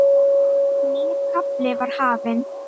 Nýr kafli var hafinn.